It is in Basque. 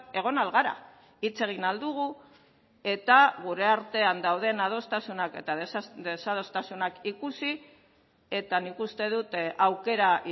egon ahal gara hitz egin ahal dugu eta gure artean dauden adostasunak eta desadostasunak ikusi eta nik uste dut aukera